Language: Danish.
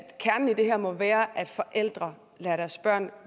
kernen i det her må være at forældre lader deres børn